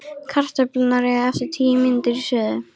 Kartöflurnar eiga eftir tíu mínútur í suðu.